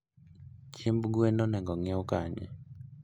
Chiemb gwen onego onyiew kanye?